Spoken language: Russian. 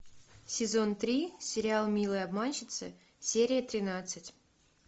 сезон три сериал милые обманщицы серия тринадцать